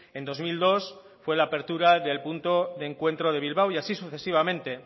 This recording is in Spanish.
en dos mil dos fue la apertura del punto de encuentro de bilbao y así sucesivamente